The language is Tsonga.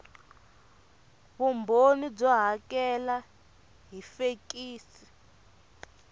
vumbhoni byo hakela hi fekisi